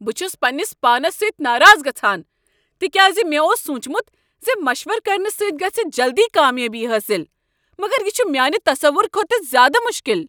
بہٕ چھس پنٛنس پانس سۭتۍ ناراض گژھان تکیاز مےٚ اوس سوچمت ز مشورٕ کرنہٕ سۭتۍ گژھہِ جلدی کامیٲبی حٲصل، مگر یہ چھ میانہ تصور کھوتہٕ زیٛادٕ مشکل۔